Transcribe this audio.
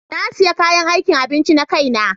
Na sayi kayan aikin abinci na kaina.